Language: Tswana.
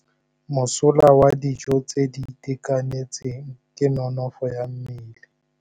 Mosola wa dijô tse di itekanetseng ke nonôfô ya mmele.